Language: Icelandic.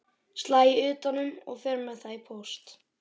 Slæ utan um og fer með það í póst.